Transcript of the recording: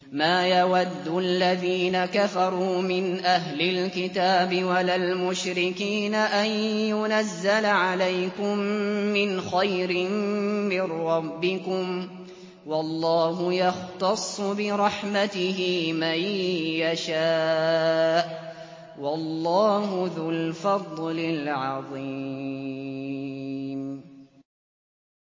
مَّا يَوَدُّ الَّذِينَ كَفَرُوا مِنْ أَهْلِ الْكِتَابِ وَلَا الْمُشْرِكِينَ أَن يُنَزَّلَ عَلَيْكُم مِّنْ خَيْرٍ مِّن رَّبِّكُمْ ۗ وَاللَّهُ يَخْتَصُّ بِرَحْمَتِهِ مَن يَشَاءُ ۚ وَاللَّهُ ذُو الْفَضْلِ الْعَظِيمِ